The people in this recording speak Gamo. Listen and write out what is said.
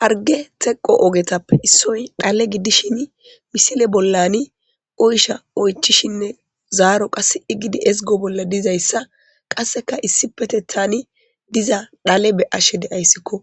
Harge teqo ogetappe issoy xale giddishin misile bollani oysha oychishinne zaaro qassi gidi ezgo bolla diza issa qasseka issi keeththani diza xale be'ashe de'ayssikko.